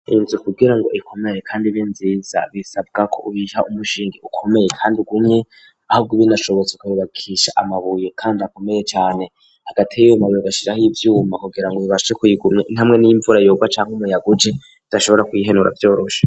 Inzu kugira ngo ikomeye, kandi be nziza bisabwa ko uyiha umushingi ukomeye, kandi ugumye ahabwo ibinacobotsoko bibakisha amabuye, kandi akomeye cane hagati yiyo mabiri gashira aho ivyuma kugira ngo bibashi kuyigumya intamwe n'imvura yobwa canke umuyaguje idashobora kwihenura vyorosha.